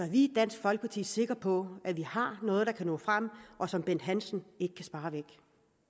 vi i dansk folkeparti sikre på at vi har noget der kan nå frem og som bent hansen ikke kan spare væk